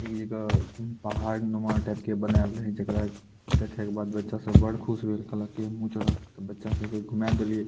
एक जगह पहाड़ नुमा टाइप के बनायल रहे जेकरा देखे के बाद बच्चा सब बड़ खुश भैल कहल के हमहू चढ़व ते बच्चा सब के घुमाय देललिए।